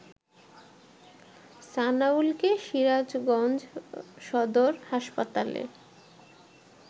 সানাউলকে সিরাজগঞ্জ সদর হাসপাতালে